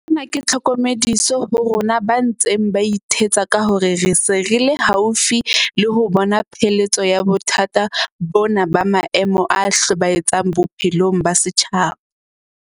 Sena ke tlhokomediso ho rona ba ntseng ba ithetsa ka hore re se re le haufi le ho bona pheletso ya bothata bona ba maemo a hlobae tsang bophelong ba setjhaba.